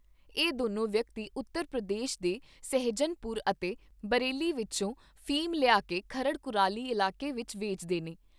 ਇਹ ਦੋਨੋ ਵਿਅਕਤੀ ਉਤਰ ਪ੍ਰਦੇਸ਼ ਦੇ ਸਹਿਜਾਨਪੁਰ ਅਤੇ ਬਰੇਲੀ ਵਿੱਚੋ ਅਫੀਮ ਲਿਆਕੇ ਖਰੜ ਕੁਰਾਲੀ ਇਲਾਕੇ ਵਿੱਚ ਵੇਚਦੇ ਨੇ।